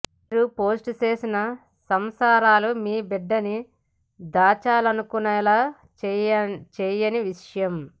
మీరు పోస్ట్ చేసిన సంసారాలు మీ బిడ్డని దాచాలనుకునేలా చేయని విషయం